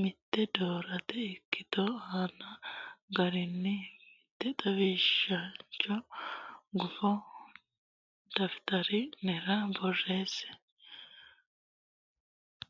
mitte doortine ikkitote aante garinni mitte xawishancho gufo daftari nera borreesse.